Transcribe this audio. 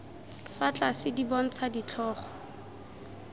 fa tlase di bontsha ditlhogo